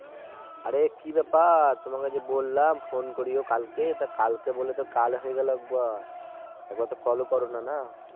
আরে কি ব্যাপার তোমাকে যে বললাম Phone করিও কালকে তো কালকে বলে তো কাল হয়ে গেলে একবারে একবার তো Call ও করোনা না